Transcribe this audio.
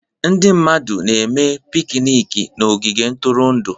Ndị mmadụ na-eme pikniiki na ogige ntụrụndụ.